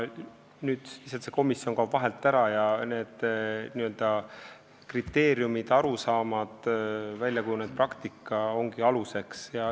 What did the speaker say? Nüüd see komisjon kaob lihtsalt vahelt ära ja aluseks ongi need kriteeriumid, arusaamad, väljakujunenud praktika.